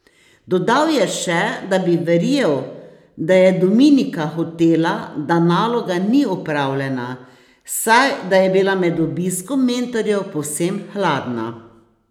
Dodal je še, da bi verjel, da je Dominika hotela, da naloga ni opravljena, saj da je bila med obiskom mentorjev povsem hladna.